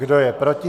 Kdo je proti?